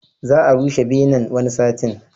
Za a rushe benen, wani satin.